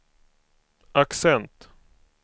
accent